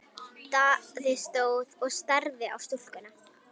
Daði stóð enn og starði á stúlkuna.